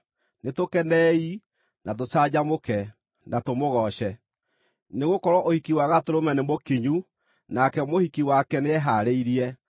Nĩtũkenei, na tũcanjamũke, na tũmũgooce! Nĩgũkorwo ũhiki wa Gatũrũme nĩmũkinyu, nake mũhiki wake nĩehaarĩirie.